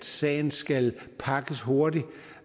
sagen skal pakkes hurtigt